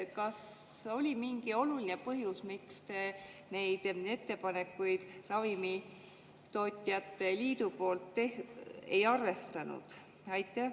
Kas oli mingi oluline põhjus, miks te neid ravimitootjate liidu ettepanekuid ei arvestanud?